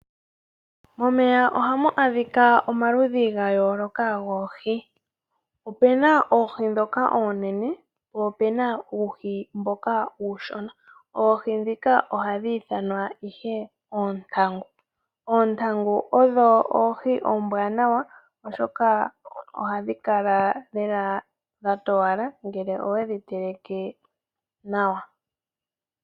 Momeya oha mu adhika omaludhi gayoloka goohi. Ope na oohi dhoka oonene po opena uuhi mboka uushona. Oohi dhika ohadhi ithanwa ihe oontangu. Oontangu odho oohi ombwanawa oshoka ohadhi kala lela dha towala ngele owedhi teleke nawa.